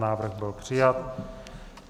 Návrh byl přijat.